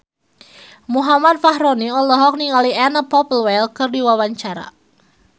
Muhammad Fachroni olohok ningali Anna Popplewell keur diwawancara